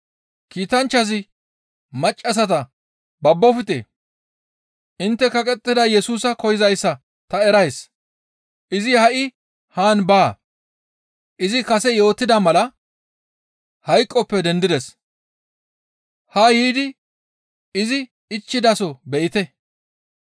Kiitanchchazi maccassata, «Babbofte; intte kaqettida Yesusa koyzayssa ta erays; izi ha7i haan baa; izi kase yootida mala hayqoppe dendides; haa yiidi izi ichchidaso be7ite.